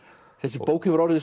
þessi bók hefur orðið